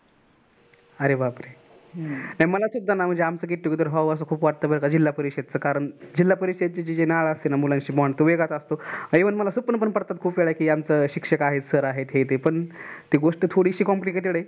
अरे बापरे मला तेच आमचं get together व्हाव अस खूप वाटत बर का कारण जिल्हा परिषदची जी नळ असते ना मुलांशी bond तो वेगळाच असतो आणी even मला स्वप्न पण पडतातकि आमचं शिक्षक आहेत sir आहेत ती गोष्ट थोडेशी complicated आहे.